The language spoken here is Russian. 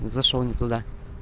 зашёл не туда